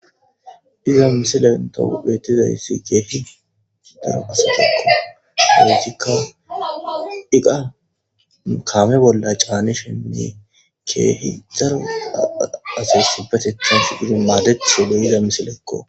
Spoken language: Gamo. Iza misilen to beettizayssi keehi dar asatekko haoosikka iqa kaame bolla caanishenne keehi dara asasibetetan fididi maadecthode iza misilekko.